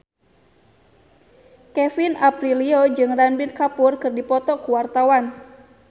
Kevin Aprilio jeung Ranbir Kapoor keur dipoto ku wartawan